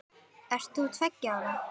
Ert þú tveggja ára?